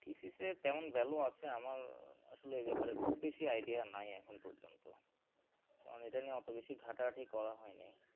thesis এর কেমন value আছে আমার আসলে এ ব্যাপারে খুব বেশি idea নাই এখন পর্যন্ত কারণ এটা নিয়ে ওতো বেশি ঘাটা ঘাঁটি করা হয়নি